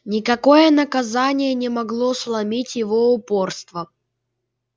никакое наказание не могло сломить его упорство